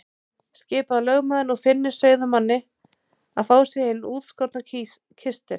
Skipaði lögmaður nú Finni sauðamanni að fá sér hinn útskorna kistil.